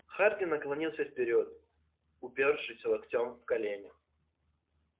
хардин наклонился вперёд упёршись локтями в колени